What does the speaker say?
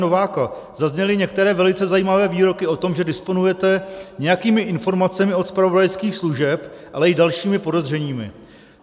Nováka zazněly některé velice zajímavé výroky o tom, že disponujete nějakými informacemi od zpravodajských služeb, ale i dalšími podezřeními.